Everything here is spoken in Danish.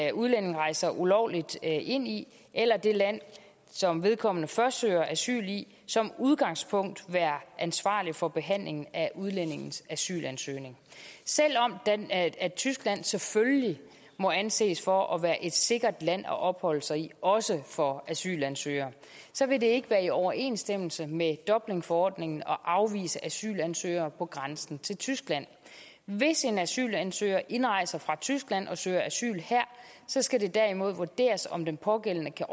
en udlænding rejser ulovligt ind i eller det land som vedkommende først søger asyl i som udgangspunkt være ansvarligt for behandlingen af udlændingens asylansøgning selv om tyskland selvfølgelig må anses for at være et sikkert land at opholde sig i også for asylansøgere vil det ikke være i overensstemmelse med dublinforordningen at afvise asylansøgere på grænsen til tyskland hvis en asylansøger indrejser fra tyskland og søger asyl her skal det derimod vurderes om den pågældende kan